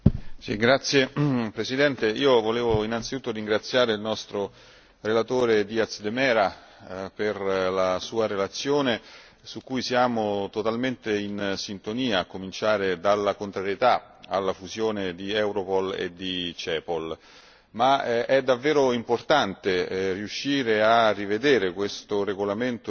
Signor Presidente, onorevoli colleghi, io volevo innanzitutto ringraziare il nostro relatore Díaz de Mera per la sua relazione su cui siamo totalmente in sintonia, a cominciare dalla contrarietà alla fusione di Europol e di Cepol. È davvero importante